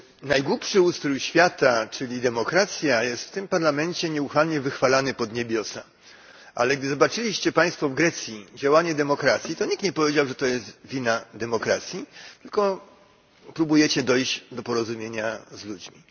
Najgłupszy ustrój świata, czyli demokracja, jest w tym Parlamencie nieustannie wychwalany pod niebiosa, ale gdy zobaczyliście państwo w Grecji działanie demokracji, to nikt nie powiedział, że to jest wina demokracji, tylko próbujecie dojść do porozumienia z ludźmi.